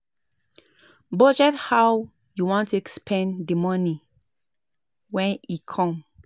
Budget how you want take spend the money when e come